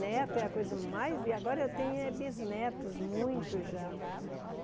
Neto é a coisa mais... e agora eu tenho é bisnetos, muitos já.